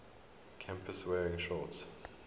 campus wearing shorts